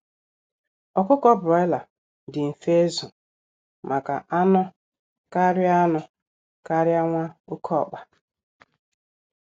Ọkụkọ Broiler dị mfe izu maka anụ karịa anụ karịa nwa oké ọkpa